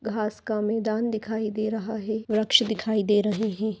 घास का मैदान दिखाई दे रहा है वृक्ष दिखाई दे रहे हैं।